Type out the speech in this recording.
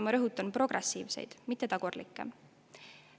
Ma rõhutan: progressiivseid, mitte tagurlikke.